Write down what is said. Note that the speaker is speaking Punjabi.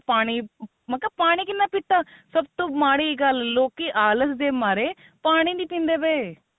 ਪਾਣੀ ਮੈਂ ਕਿਹਾ ਪਾਣੀ ਕਿੰਨਾ ਪੀਤਾ ਸਭ ਤੋ ਮਾੜੀ ਗੱਲ ਲੋਕੀ ਆਲਸ ਦੇ ਮਾਰੇ ਪਾਣੀ ਨੀ ਪੀਂਦੇ ਪਏ